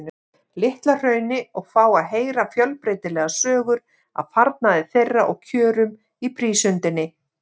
Litla-Hrauni og fá að heyra fjölbreytilegar sögur af farnaði þeirra og kjörum í prísundinni.